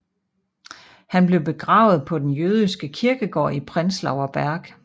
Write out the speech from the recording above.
Han blev begravet på den jødiske kirkegård i Prenzlauer Berg